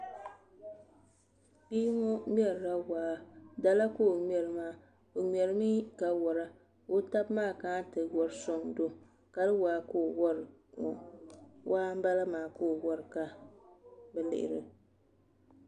Bia ŋo ŋmɛrila waa dala ka o ŋmɛri maa o ŋmɛrimi ka wora ka o tabi maa kana ti wori soŋdo kali waa ka o wori ŋo waa n bala maa ka o wori ka bi lihiri